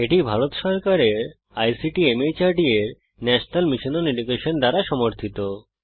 এটি ভারত সরকারের আইসিটি মাহর্দ এর ন্যাশনাল মিশন ওন এডুকেশন দ্বারা সমর্থিত